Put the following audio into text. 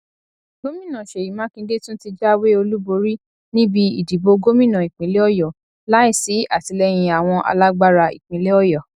gomìna seyi makinde tún ti jáwé olúborí níbi ìdìbò gómìnà ìpínlẹ ọyọ láìsí àtìlẹyìn àwọn alágbára ìpínlẹ ọyọ